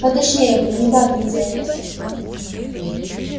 поточнее бы не бабьим диалектом